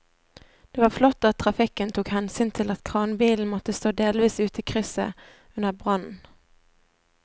Det var flott at trafikken tok hensyn til at kranbilen måtte stå delvis ute i krysset under brannen.